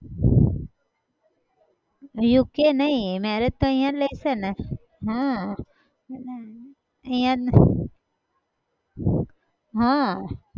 UK નહિ marriage તો અહિયાં જ લે છે ને હા અહિયાં જ હા